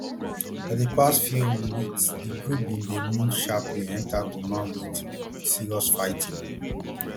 for di past few um weeks di group bin dey move sharply enta goma wit um serious fighting